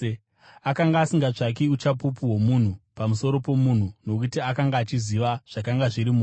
Akanga asingatsvaki uchapupu hwomunhu pamusoro pomunhu nokuti akanga achiziva zvakanga zviri mumunhu.